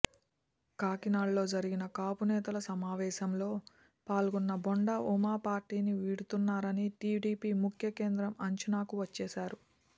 కాకినాడలో జరిగిన కాపు నేతల సమావేశంలో పాల్గొన్న బోండా ఉమ పార్టీని వీడుతున్నారని టీడీపీ ముఖ్య కేంద్రం అంచనాకు వచ్చేసారు